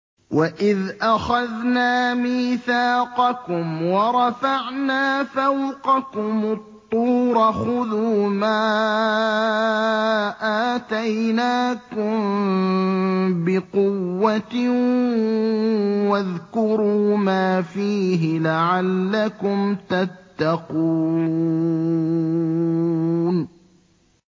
وَإِذْ أَخَذْنَا مِيثَاقَكُمْ وَرَفَعْنَا فَوْقَكُمُ الطُّورَ خُذُوا مَا آتَيْنَاكُم بِقُوَّةٍ وَاذْكُرُوا مَا فِيهِ لَعَلَّكُمْ تَتَّقُونَ